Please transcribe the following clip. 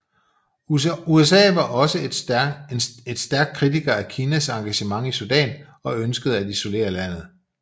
USA var også et stærk kritiker af Kinas engagement i Sudan og ønskede at isolere landet